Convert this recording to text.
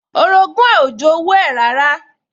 Orogún ẹ̀ ò jowú ẹ̀ rárá